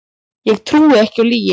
Ég trúi ekki á lygi